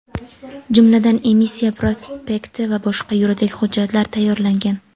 jumladan emissiya prospekti va boshqa yuridik hujjatlar tayyorlangan.